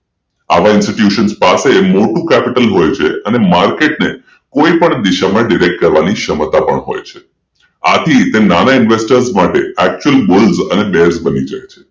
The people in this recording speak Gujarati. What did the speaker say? આવા institutes પાસે મોટુ capital હોય છે કોઈ પણ દિશામાં ડિરેક્ટ કરવાની ક્ષમતા પણ હોય છે આથી તેના ઇન્વેસ્ટર માટે actual bull berish બની જાય છે